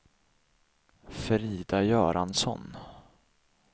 Frida Göransson